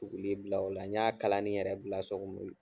Tuguli bila o la n y'a kalan ni yɛrɛ bila' ye